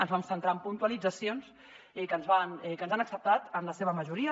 ens vam centrar en puntualitzacions que ens han acceptat en la seva majoria